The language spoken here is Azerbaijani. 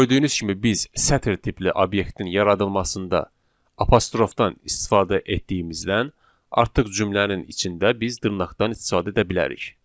Gördüyünüz kimi biz sətr tipli obyektin yaradılmasında apostrofdan istifadə etdiyimizdən artıq cümlənin içində biz dırnaqdan istifadə edə bilərik.